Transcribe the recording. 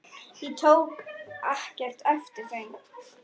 Ég tók ekkert eftir þeim.